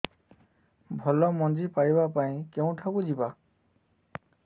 ଭଲ ମଞ୍ଜି ପାଇବା ପାଇଁ କେଉଁଠାକୁ ଯିବା